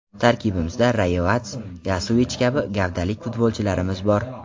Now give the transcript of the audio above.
Tarkibimizda Rayevats, Yosovich kabi gavdali futbolchilarimiz bor.